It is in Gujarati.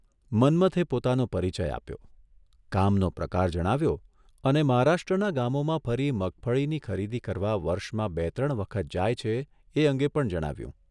મન્મથે પોતાનો પરિચય આપ્યો, કામનો પ્રકાર જણાવ્યો અને મહારાષ્ટ્રનાં ગામોમાં ફરી મગફળીની ખરીદી કરવા વર્ષમાં બે ત્રણ વખત જાય છે એ અંગે પણ જણાવ્યું.